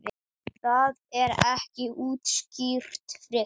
Það er ekki útskýrt frekar.